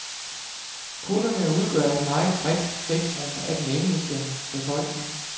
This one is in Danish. Kunderne udgør et meget bredt spektrum af den engelske befolkning.